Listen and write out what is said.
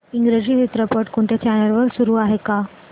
इंग्रजी चित्रपट कोणत्या चॅनल वर चालू आहे का